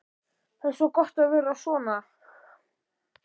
Það er svo gott að vera svona.